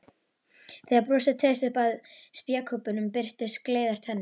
Þegar brosið teygðist upp að spékoppunum birtust gleiðar tennur.